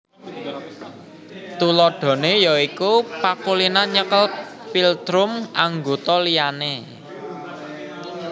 Tuladhané ya iku pakulinan nyekel philtrum anggota liyane